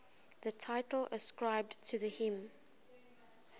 the title ascribed to the hymn